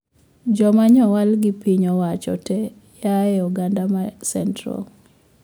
Joma nyowal gi piny owacho tee oyae oganda ma central